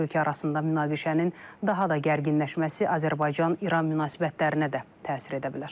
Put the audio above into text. İki ölkə arasında münaqişənin daha da gərginləşməsi Azərbaycan-İran münasibətlərinə də təsir edə bilər.